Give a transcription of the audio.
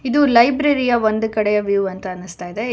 ಇದು ಲೈಬ್ರರಿ ಯ ಒಂದು ಕಡೆ ವ್ಯೂ ಅಂತ ಅನಿಸ್ತಾ ಇದೆ.